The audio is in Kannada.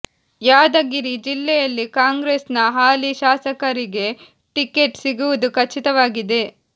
ಯಾದರಿಗಿ ಜಿಲ್ಲೆಯಲ್ಲಿ ಕಾಂಗ್ರೆಸ್ ನ ಹಾಲಿ ಶಾಸಕರಿಗೆ ಟಿಕೇಟ್ ಸಿಗುವುದು ಖಚಿತವಾಗಿದೆ